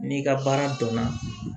N'i ka baara dɔnna